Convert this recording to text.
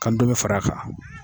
Ka ndomi fara a kan.